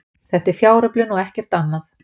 Þetta er fjáröflun og ekkert annað